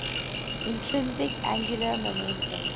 intrinsic angular momentum